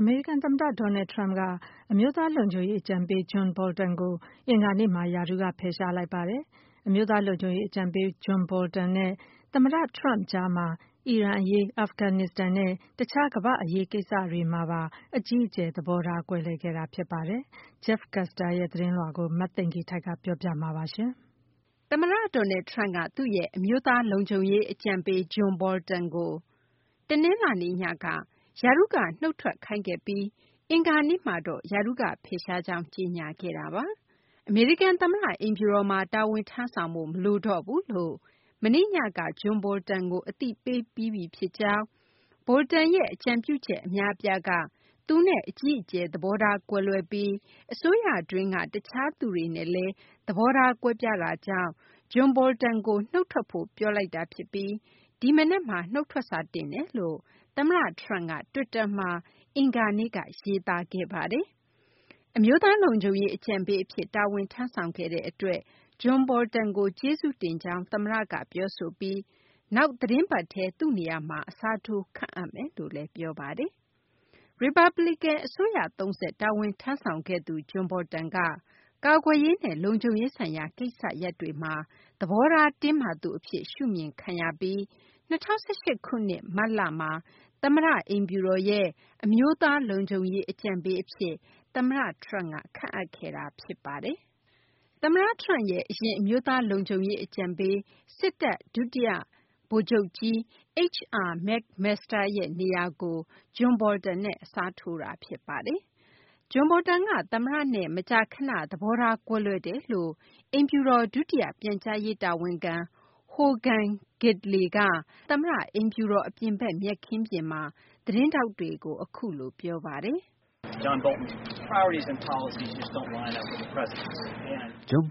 အမေရိကန် သမ္မတ Donald Trump က အမျိုးသား လုံခြုံရေး အကြံပေး John Bolton ကို အင်္ဂါနေ့မှာ ရာထူးက ဖယ်ရှားလိုက်ပါတယ်။ အမျိုးသား လုံခြုံရေး အကြံပေး John Bolton နဲ့ သမ္မတ Trump ကြားမှာ အီရန်အရေး၊ အာဖဂန် နစ္စတန်နဲ့ တခြား ကမ္ဘာ့ အရေးကိစ္စတို့မှာပါ အကြီးအကျယ် သဘောထား ကွဲလွဲခဲ့တာ ဖြစ်ပါတယ်။ Jeff Custer ရဲ့ သတင်းကို မသိင်္ဂီထိုက် ပြောပြမှာပါ။ သမ္မတ Donald Trump က သူ့ရဲ့ အမျိုးသား လုံခြုံရေး အကြံပေး John Bolton ကို ရာထူးက တနလာၤနေ့ညက နုတ်ထွက်ခိုင်းခဲ့ပြီး အင်္ဂါနေ့မှာတော့ ရာထူးကဖယ်ရှားကြောင်း ကြေညာခဲ့တာပါ။ အမေရိကန်သမ္မတအိမ်ဖြူတော်မှာ တာဝန်ထမ်းဆောင်ဖို့ မလိုတော့ဘူး လို့ မနေ့ညက John Bolton ကို အသိပေးပြီးပြီ ဖြစ်ကြောင်း၊ Bolton ရဲ့ အကြံပြုချက် အများအပြားက သူနဲ့ အကြီးအကျယ် သဘောထား ကွဲလွဲပြီး အစိုးရတွင်းက တခြား သူတွေနဲ့လည်း သဘောထားကွဲပြားတာကြောင့် John Bolton ကို နုတ်ထွက်ဖို့ ပြောလိုက် တာဖြစ်ပြီး ဒီမနက်မှာ နုတ်ထွက်စာတင်တယ်လို့ သမ္မတ Trump က တွစ်တာ မှာ အင်္ဂါနေ့က ရေးသားခဲ့ပါတယ်။ အမျိုးသား လုံခြုံရေးအကြံပေးအဖြစ် တာဝန် ထမ်းဆောင်ခဲ့တဲ့အတွက် John Bolton ကို ကျေးဇူးတင်ကြောင်း သမ္မတကပြော ဆိုပြီး နောက်သီတင်းပတ်ထဲ သူ့နေရာမှာ အစားထိုး ခန့်အပ်မယ်လို့လည်း ပြောပါတယ်။ ရီပတ်ပလီကန် အစိုးရသုံးဆက် တာဝန်ထမ်းဆောင်ခဲ့သူ John Bolton က ကာကွယ်ရေး နဲ့ လုံခြုံရေးဆိုင်ရာ ကိစ္စရပ်တွေမှာ သဘောထား တင်းမာသူအဖြစ် ရှုမြင် ခံရပြီး ၂၀၁၈ ခုနှစ် မတ်လမှာ သမ္မတအိမ်ဖြူတော်ရဲ့ အမျိုးသား လုံခြုံရေးအကြံပေး အဖြစ် သမ္မတ Trump က ခန့်အပ်ခဲ့တာ ဖြစ်ပါတယ်။ သမ္မတ Trump ရဲ့ အရင် အမျိုးသား လုံခြုံရေးအကြံပေး ဒုတိယဗိုလ်ချုပ်ကြီး H.R. McMaster ရဲ့ နေရာကို John Bolton နဲ့ အစားထိုးခဲ့တာ ဖြစ်ပါတယ်။ John Bolton က သမ္မတနဲ့ မကြာခဏ သဘောထားကွဲလွဲတယ်လို့အိမ်ဖြူတော် ဒုတိယ ပြန်ကြားရေး တာဝန်ခံ Hogan Gidley က အမေရိကန်သမ္မတအိမ်ဖြူတော် အပြင်ဘက်မြက်ခင်းမှာ သတင်းထောက်တွေကို အခုလို ပြောပါတယ်။ “John